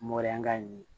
Mɔdɛlikan in ye